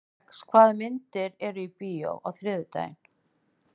Rex, hvaða myndir eru í bíó á þriðjudaginn?